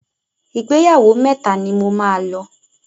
Ìgbéyàwó mẹ́ta ni mo máa lọ.